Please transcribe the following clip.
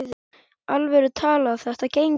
alvöru talað: þetta gengur ekki!